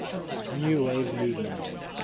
new wave movement